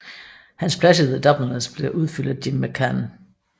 Hans plads i The Dubliners blev udfyldt af Jim McCann